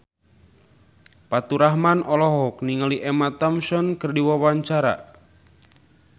Faturrahman olohok ningali Emma Thompson keur diwawancara